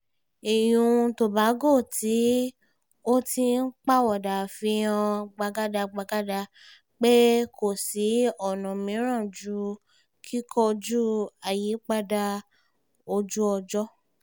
ìyún tobago tí ó ti ń pawọ́dà fi hàn gbàgàdàgbàgàdà pé kò sí ọ̀nà mìíràn ju kíkojú àyípadà ojú-ọjọ́